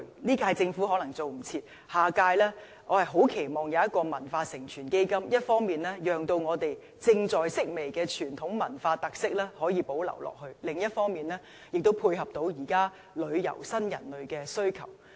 這屆政府可能趕不及設立，我很期望下一屆政府會設立"文化承傳基金"，一方面讓我們正在式微的傳統文化特色可以保留下去，另一方面，亦能滿足現代旅遊新人類的需求。